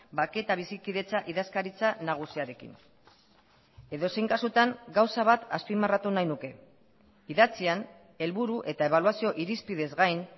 bake eta bizikidetza idazkaritza nagusiarekin edozein kasutan gauza bat azpimarratu nahi nuke idatzian helburu eta ebaluazio irizpideez gain